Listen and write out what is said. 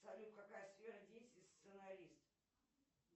салют какая сфера деятельности сценарист